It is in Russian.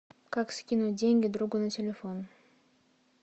как скинуть деньги другу на телефон